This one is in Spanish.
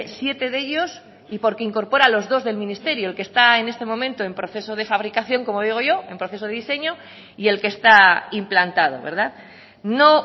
siete de ellos y porque incorpora los dos del ministerio el que está en este momento en proceso de fabricación como digo yo en proceso de diseño y el que está implantado no